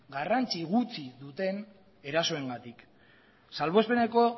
garrantzi gutxi duten erasoengatik salbuespeneko